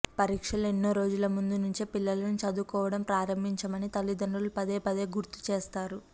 పరీక్షలు ఎన్నో రోజుల ముందు నుంచే పిల్లలను చదువుకోవడం ప్రారంభించమని తల్లిదండ్రులు పదే పదే గుర్తుచేస్తారు